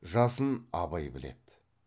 жасын абай біледі